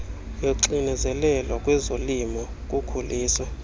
loxinezelelo kwezolimo kukhulisa